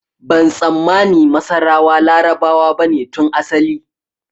Ban tsammani masarawa Larabawa bane tun asali